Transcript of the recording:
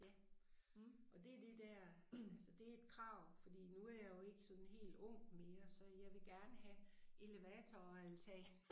Ja og det det dér altså det et krav fordi nu jeg jo ikke sådan helt ung mere så jeg vil gerne have elevator og altan